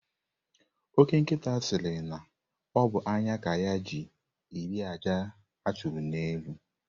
Ọke nkita siri na ọ bụ anya ka ya ji eri àjà a chụrụ n'elu.